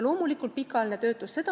Loomulikult, pikaajaline töötus.